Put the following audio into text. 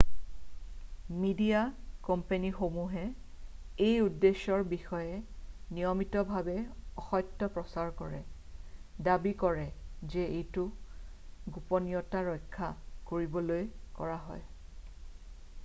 "Media কোম্পানীসমূহে এই উদ্দেশ্যৰ বিষয়ে নিয়মিতভাৱে অসত্য প্ৰচাৰ কৰে দাবী কৰে যে এইটো "গোপনীয়তা ৰক্ষা" কৰিবলৈ কৰা হয়।""